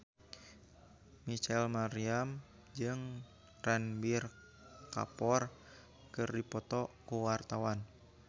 Rachel Maryam jeung Ranbir Kapoor keur dipoto ku wartawan